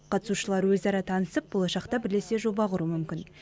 қатысушылар өзара танысып болашақта бірлесе жоба құруы мүмкін